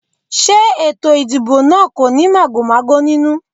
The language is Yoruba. Ṣé ètò ìdìbò náà kò ní màgòmágó nínú?